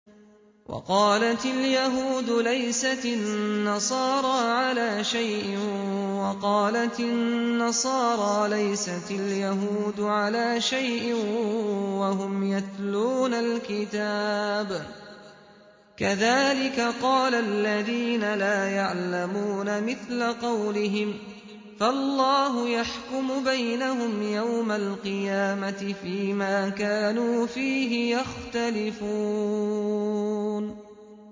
وَقَالَتِ الْيَهُودُ لَيْسَتِ النَّصَارَىٰ عَلَىٰ شَيْءٍ وَقَالَتِ النَّصَارَىٰ لَيْسَتِ الْيَهُودُ عَلَىٰ شَيْءٍ وَهُمْ يَتْلُونَ الْكِتَابَ ۗ كَذَٰلِكَ قَالَ الَّذِينَ لَا يَعْلَمُونَ مِثْلَ قَوْلِهِمْ ۚ فَاللَّهُ يَحْكُمُ بَيْنَهُمْ يَوْمَ الْقِيَامَةِ فِيمَا كَانُوا فِيهِ يَخْتَلِفُونَ